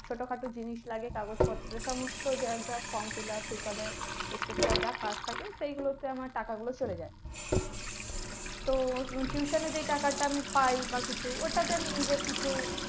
ছোটখাটো জিনিস লাগে, কাগজপত্র সমস্ত যার যা form fill up এইসবে etcetera যা কাজ থাকে সেইগুলোতে আমার টাকাগুলো চলে যায়। তো tuition এ যে টাকাটা পাই বা কিছু ওটাতে আমি নিজের কিছু